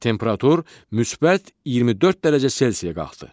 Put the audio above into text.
Temperatur müsbət 24 dərəcə C-yə qalxdı.